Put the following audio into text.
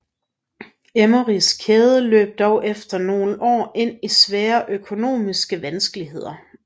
Emmerys kæden løb dog efter nogle år ind i svære økonomiske vanskeligheder